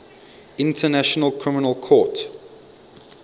international criminal court